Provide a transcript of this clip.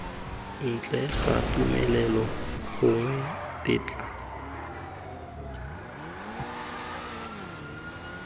ntle ga tumelelo gongwe tetla